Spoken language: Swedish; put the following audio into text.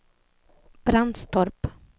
Brandstorp